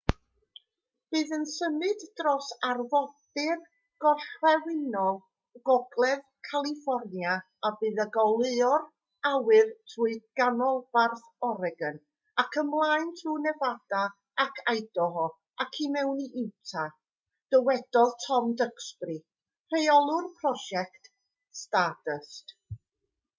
bydd yn symud dros arfordir gorllewinol gogledd califfornia a bydd yn goleuo'r awyr trwy ganolbarth oregon ac ymlaen trwy nefada ac idaho ac i mewn i utah dywedodd tom duxbury rheolwr prosiect stardust